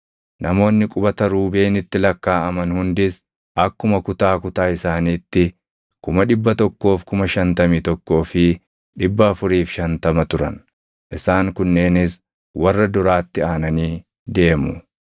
Namoonni qubata Ruubeenitti lakkaaʼaman hundis akkuma kutaa kutaa isaaniitti 151,450 turan. Isaan kunneenis warra duraatti aananii deemu.